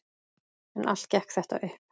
En allt gekk þetta upp.